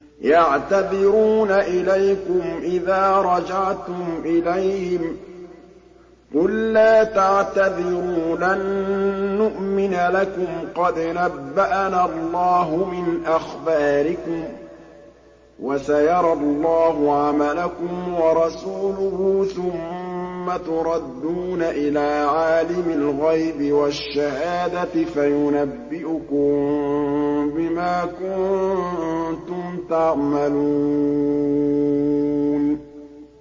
يَعْتَذِرُونَ إِلَيْكُمْ إِذَا رَجَعْتُمْ إِلَيْهِمْ ۚ قُل لَّا تَعْتَذِرُوا لَن نُّؤْمِنَ لَكُمْ قَدْ نَبَّأَنَا اللَّهُ مِنْ أَخْبَارِكُمْ ۚ وَسَيَرَى اللَّهُ عَمَلَكُمْ وَرَسُولُهُ ثُمَّ تُرَدُّونَ إِلَىٰ عَالِمِ الْغَيْبِ وَالشَّهَادَةِ فَيُنَبِّئُكُم بِمَا كُنتُمْ تَعْمَلُونَ